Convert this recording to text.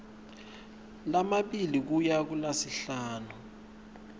lamabili kuya kulasihlanu